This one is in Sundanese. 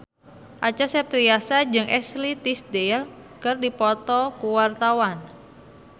Acha Septriasa jeung Ashley Tisdale keur dipoto ku wartawan